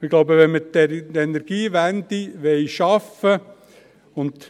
Ich glaube, wenn wir die Energiewende schaffen wollen …